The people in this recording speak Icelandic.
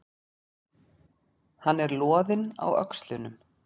Hann er loðinn á öxlunum.